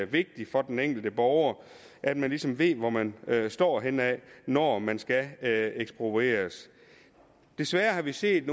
vigtigt for den enkelte borger at man ligesom ved hvor man står henne når man skal have eksproprieret desværre har vi set